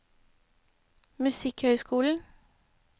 musikkhøyskolen